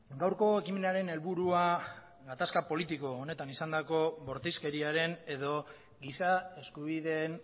gaurko ekimenaren helburua gatazka politiko honetan izandako bortizkeriaren edo giza eskubideen